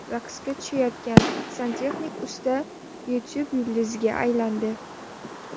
Raqsga tushayotgan santexnik usta YouTube yulduziga aylandi .